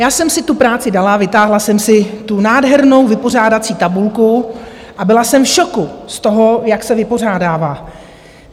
Já jsem si tu práci dala, vytáhla jsem si tu nádhernou vypořádací tabulku a byla jsem v šoku z toho, jak se vypořádává.